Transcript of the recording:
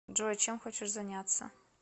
джой чем хочешь заняться